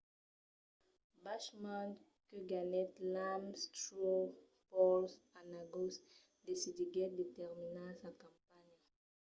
bachmann que ganhèt l'ames straw poll en agost decidiguèt de terminar sa campanha